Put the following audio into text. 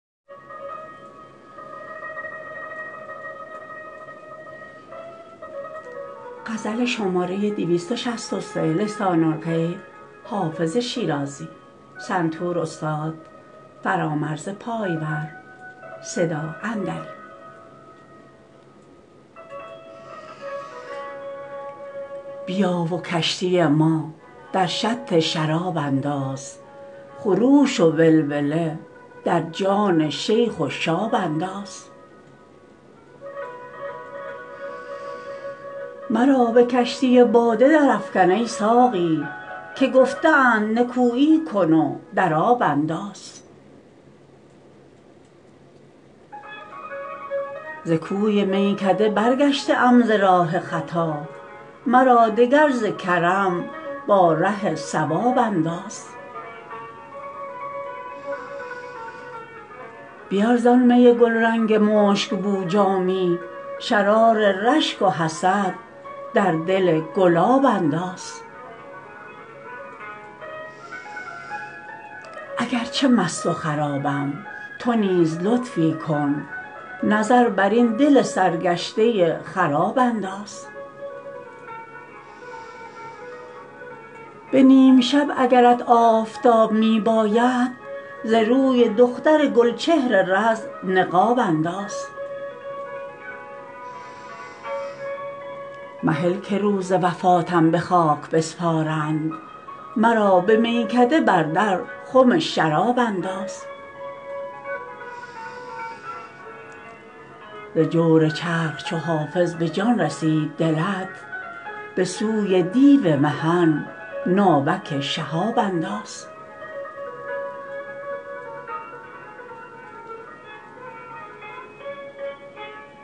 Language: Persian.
بیا و کشتی ما در شط شراب انداز خروش و ولوله در جان شیخ و شاب انداز مرا به کشتی باده درافکن ای ساقی که گفته اند نکویی کن و در آب انداز ز کوی میکده برگشته ام ز راه خطا مرا دگر ز کرم با ره صواب انداز بیار زآن می گلرنگ مشک بو جامی شرار رشک و حسد در دل گلاب انداز اگر چه مست و خرابم تو نیز لطفی کن نظر بر این دل سرگشته خراب انداز به نیم شب اگرت آفتاب می باید ز روی دختر گل چهر رز نقاب انداز مهل که روز وفاتم به خاک بسپارند مرا به میکده بر در خم شراب انداز ز جور چرخ چو حافظ به جان رسید دلت به سوی دیو محن ناوک شهاب انداز